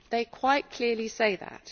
They quite clearly say that.